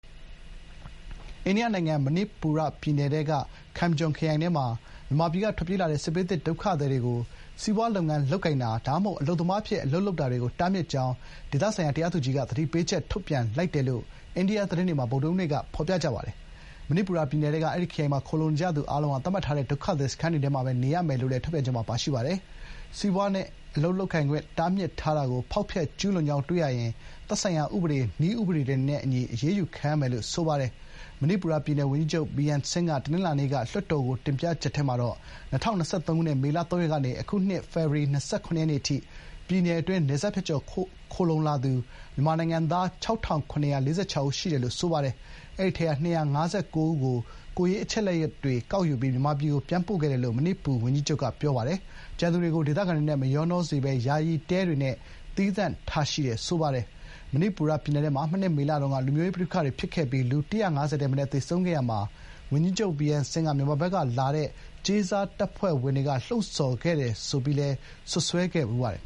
အိန္ဒိယနိုင်ငံ မဏိပူရပြည်နယ်ထဲက Kamjong ခရိုင်ထဲမှာ မြန်မာပြည်က ထွက်ပြေးလာတဲ့ စစ်ဘေးသင့်ဒုက္ခသည်တွေကို စီးပွားလုပ်ငန်းလုပ်ကိုင်တာ ဒါမှမဟုတ် အလုပ်သမားအဖြစ် အလုပ်လုပ်တာတွေကို တားမြစ် ကြောင်း ဒေသတရားသူကြီးက သတိပေးချက် ထုတ်ပြန်လိုက်တယ်လို့ အိန္ဒိယသတင်းတွေမှာ ဗုဒ္ဓဟူးနေ့က ဖော်ပြပါတယ်။ ချင်းပြည်နယ်၊ စစ်ကိုင်းတိုင်းတွေနဲ့ နယ်နိမိတ်ချင်းထိစပ်နေတဲ့ မဏိပူရပြည်နယ်ထဲက အဲဒီ ခရိုင်မှာ ခိုလှုံနေကြသူအားလုံးဟာ သတ်မှတ်ထားတဲ့ ဒုက္ခသည်စခန်းတွေထဲမှာပဲနေရမယ်လို့လည်း ထုတ်ပြန်ချက်မှာ ပါရှိပါတယ်။ စီးပွားနဲ့ အလုပ်လုပ်ခွင့် တားမြစ်ထားတာကို ဖောက်ဖျက်ကျူးလွန်ကြောင်းတွေ့ရှိရင် သက်ဆိုင်ရာ ဥပဒေ၊ နည်းဥပဒေတွေနဲ့အညီ အရေးယူခံရမယ်လို့လည်း ဖော်ပြထားပါတယ်။ မဏိပူရ ပြည်နယ် ဝန်ကြီးချုပ် ဗီရမ် ဆင်း (Biren Singh) က ပြီးခဲ့တဲ့တနင်္လာနေ့က လွှတ်တော်ကို တင်ပြချက်ထဲမှာ ၂၀၂၃ ခုနှစ် မေလ ၃ ရက်နေ့ကနေ အခုနှစ် ဖေဖော်ဝါရီ ၂၇ ရက် နေ့အထိ ပြည်နယ်အတွင်း တရားမဝင် နယ်စပ်ဖြတ်ကျော် ခိုလှုံလာသူ မြန်မာနိုင်ငံသား ၆,၇၄၆ ဦး ရှိတယ်လို့ ဆိုပါတယ်။ အဲဒီထဲက မြန်မာနိုင်ငံသား ၂၅၉ ဦးကို ကိုယ်ရေးအချက်အလက်တွေကောက်ယူပြီး မြန်မာပြည်ဘက်ကို ပြန်ပို့ခဲ့တယ်လို့ မဏိပူဝန်ကြီးချုပ်က ပြောပါတယ်။ ကျန်သူတွေကို ဒေသခံတွေနဲ့ မရောနှောစေဘဲ ယာယီတဲတွေနဲ့သီးသန့်ထားရှိတယ်လို့ ဆိုပါတယ်။ မဏိပူရပြည်နယ်ထဲမှာ မနှစ် မေလတုန်းက လူမျိုးရေးပဋိပက္ခတွေဖြစ်ခဲ့ပြီး လူ ၁၅၀ ထက်မနည်းသေဆုံးခဲ့ရာမှာ ဝန်ကြီးချုပ် ဗီရမ် ဆင်း က မြန်မာနိုင်ငံဘက်ကလာတဲ့ “ကြေးစားတပ်ဖွဲ့ဝင်တွေ” က မငြိမ်မသက်ဖြစ်အောင် လှုံ့ဆော်ခဲ့တယ်-ဆိုပြီး စွပ်စွဲခဲ့ဖူးပါတယ်